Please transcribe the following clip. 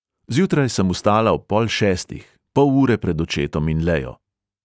Zjutraj sem vstala ob pol šestih, pol ure pred očetom in lejo.